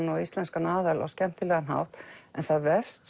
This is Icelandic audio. og íslenskan aðal á skemmtilegan hátt en það vefst